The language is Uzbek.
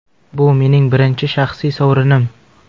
Bu mening birinchi shaxsiy sovrinim.